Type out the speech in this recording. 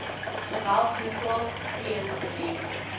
geweldsmisdaad teen mense